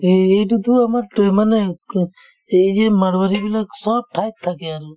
এই~ এইটো আমাৰ এই যে মাৰুৱালীবিলাক চব ঠাইত থাকে আৰু